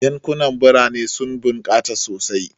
Yankunan birane sun bunkasa sosai,.